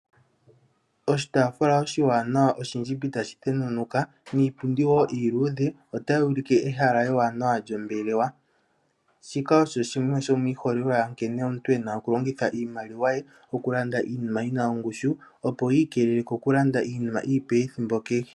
Oshitaafula oshiwanawa oshindjimbi tashi thenunuka niipundi woo iiludhe otayi ulike ehala ewanawa lyombelewa, shika osho shimwe shomiiholelwa yankene omuntu ena okulongitha iimaliwa ye okulanda iinima yina ongushu opo yiikelele kokulanda iinima iipe ethimbo kehe.